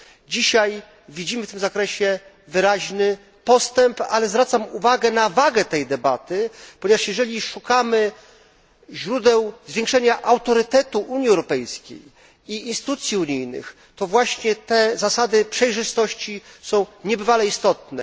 Dzisiaj widzimy w tym zakresie wyraźny postęp, ale zwracam uwagę na wagę tej debaty, ponieważ jeżeli szukamy źródeł zwiększenia autorytetu Unii Europejskiej i instytucji unijnych, to właśnie te zasady przejrzystości są niebywale istotne.